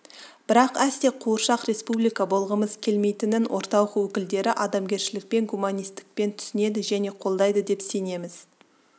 бірақ әсте қуыршақ республика болғымыз келмейтінін орталық өкілдері адамгершілікпен гуманистікпен түсінеді және қолдайды деп сенеміз